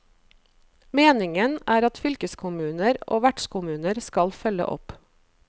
Meningen er at fylkeskommuner og vertskommuner skal følge opp.